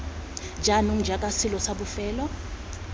jaanong jaaka selo sa bofelo